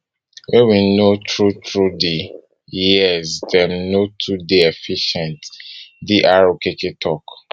wey we know through through di years say dem no too dey efficient dr okere tok